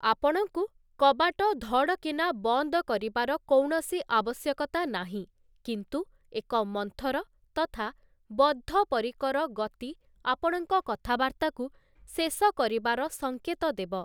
ଆପଣଙ୍କୁ କବାଟ ଧଡ଼କିନା ବନ୍ଦ କରିବାର କୌଣସି ଆବଶ୍ୟକତା ନାହିଁ, କିନ୍ତୁ ଏକ ମନ୍ଥର, ତଥା ବଦ୍ଧପରିକର ଗତି ଆପଣଙ୍କ କଥାବାର୍ତ୍ତାକୁ ଶେଷ କରିବାର ସଙ୍କେତ ଦେବ ।